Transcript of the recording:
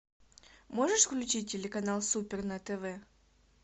можешь включить телеканал супер на тв